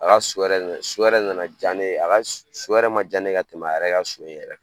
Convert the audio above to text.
A ka so yɛrɛ de nana, so yɛrɛ de nana diya ne ye. So yɛrɛ ma diya ne ye ka tɛmɛ a yɛrɛ ka so in yɛrɛ kan.